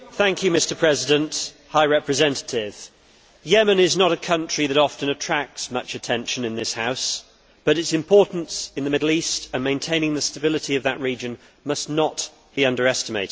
Mr President, Yemen is not a country that often attracts much attention in this House, but its importance in the Middle East and for maintaining the stability of that region must not be underestimated.